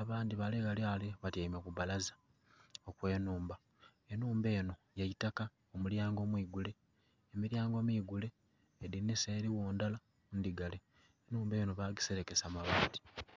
abandhi bale ghale batyaime ku balaza eye nhumba enhumba enho ye itaka omulyango mwigule, emilyango migule edhinisa erigho ndhala ndhigale. Enhumba enho bagiselekesa mabati.